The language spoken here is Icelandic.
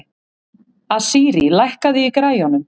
Asírí, lækkaðu í græjunum.